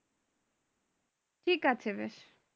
ঠিক আছে